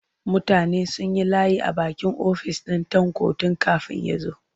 Mutane sun yi layi a bakin ofis ɗin Tanko tun kafin ya zo.